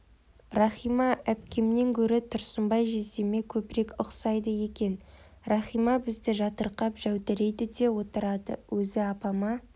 рахима әпкемнен гөрі тұрсынбай жездеме көбірек ұқсайды екен рахима бізді жатырқап жәудірейді де отырады өзі апама